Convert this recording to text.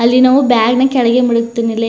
ಅಲ್ಲಿ ನಾವು ಬ್ಯಾಗ್ ನೆ ಕೆಳಗೆ ಮುಳುಗ್ತಿರ್ಲಿಲ್ಲ --